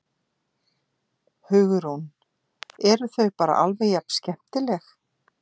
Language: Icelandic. Hugrún: Eru þau bara alveg jafn skemmtileg?